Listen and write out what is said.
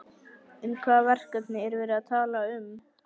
En hvaða verkefni er verið að tala um?